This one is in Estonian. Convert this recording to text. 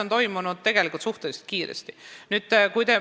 Muutused on tegelikult suhteliselt kiiresti toimunud.